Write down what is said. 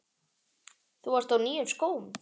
Þú varst á nýjum skóm.